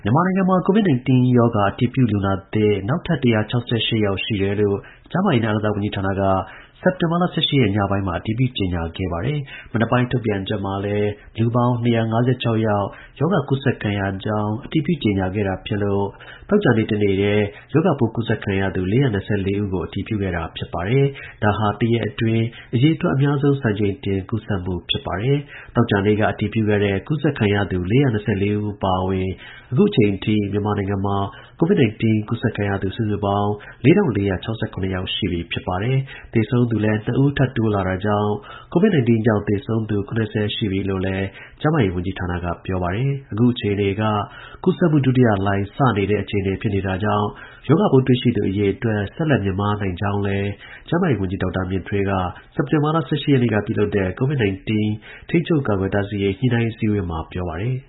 မြန်မာနိုင်ငံမှာ COVID-19 ရောဂါ အတည်ပြုလူနာသစ် နောက်ထပ် ၁၆၈ ယောက်ရှိတယ်လို့ ကျန်းမာရေးနဲ့ အားကစားဝန်ကြီးဌာန က စက်တင်ဘာလ ၁၈ ရက် ညပိုင်းမှာ အတည်ပြု ကြေညာခဲ့ပါတယ်။ မနက်ပိုင်း ထုတ်ပြန်ချက်မှာလည်း လူပေါင်း ၂၅၆ ယောက် ရောဂါကူးစက်ခံရကြောင်း အတည်ပြုကြေညာခဲ့တာ ဖြစ်လို့ သောကြာနေ့ တစ်နေ့တည်း ရောဂါပိုး ကူးစက်ခံရသူ ၄၂၄ ဦးကို အတည်ပြုခဲ့တာဖြစ်ပါတယ်။ ဒါဟာ တစ်ရက်အတွင်း အရေအတွက် အများဆုံး စံချိန်တင် ကူးစက်မှု ဖြစ်ပါတယ်။ သောကြာနေ့က အတည်ပြုခဲ့တဲ့ ကူးစက်ခံရသူ ၄၂၄ ဦး အပါအဝင် အခုအချိန်ထိ မြန်မာနိုင်ငံမှာCOVID 19ကူးစက်ခံရသူ စုစုပေါင်း ၄၄၆၇ ယောက် ရှိပြီဖြစ်ပါတယ်။ သေဆုံးသူလည်း ၂ ဦး ထပ်တိုးလာတာကြောင့်COVID-19 ကြောင့် သေဆုံးသူ ၇၀ ရှိပြီလို့လည်း ကျန်းမာရေး ဝန်ကြီး ဌာနက ပြောပါတယ်။ အခုအခြေအနေက ကူးစက်မှုဒုတိယလှိုင်း စတဲ့နေတဲ့ အခြေအနေဖြစ်တာကြောင့် ရောဂါပိုးတွေ့ရှိသူ အရေအတွက်များ ဆက်လက် မြင့်မားနိုင်ကြောင်းကိုလည်း ကျန်းမာရေးဝန်ကြီး ဒေါက်တာ မြင့်ထွေးက စက်တင်ဘာလ ၁၈ ရက်နေ့က ပြုလုပ်တဲ့ COVID 19 ထိန်းချုပ်ကာကွယ်တားဆီးရေး ညှိနှိုင်း အစည်းအဝေးမှာ ပြောပါတယ်။